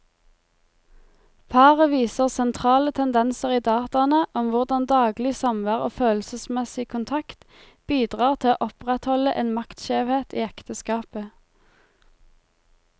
Paret viser sentrale tendenser i dataene om hvordan daglig samvær og følelsesmessig kontakt bidrar til å opprettholde en maktskjevhet i ekteskapet.